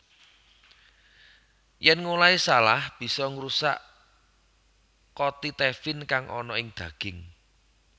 Yèn ngolahé salah bisa ngrusak kotitefin kang ana ing daging